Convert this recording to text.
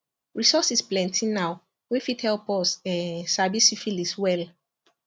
resources plenty now wey fit help us um sabi syphilis well